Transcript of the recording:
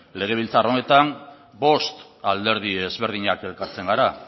legebiltzar honetan bost alderdi ezberdinak elkartzen gara